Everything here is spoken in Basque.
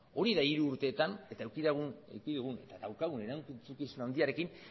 hori da hiru urteetan eta daukagun erantzuna